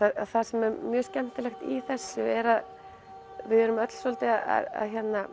það sem er mjög skemmtilegt í þessu er að við erum öll svolítið að